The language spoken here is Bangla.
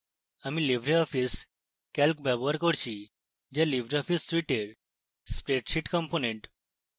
আমি libreoffice calc ব্যবহার করছিযা libreoffice suite এর spreadsheet component